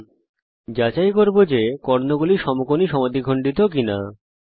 এর পরে আমরা যাচাই করব যে কর্ণগুলি সমকোণী সমদ্বিখণ্ডক কিনা